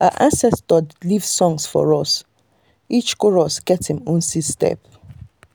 our ancestors leave songs for us - each chorus get him own seed step.